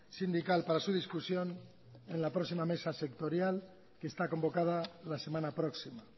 sindical para su discusión en la próxima mesa sectorial que está convocada la semana próxima